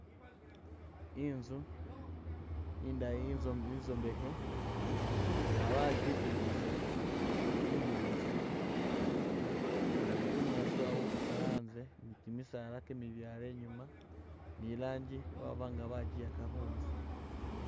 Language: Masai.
Inzu indayi inzo inzombekhe nga bajibimbisakho bunyaasi ni bunyaasi babubusa anze ni kimisaala kimibyale inyuma ni ranji baba nga bajiyakha khunzu